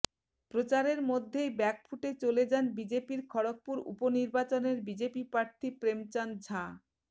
প্রচারের মধ্য়েই ব্যাকফুটে চলে যান বিজেপির খড়গপুর উপনির্বাচনের বিজেপি প্রার্থী প্রেমচাঁদ ঝা